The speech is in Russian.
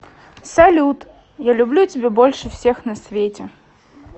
салют я люблю тебя больше всех на свете